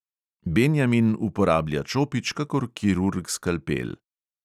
Benjamin uporablja čopič kakor kirurg skalpel.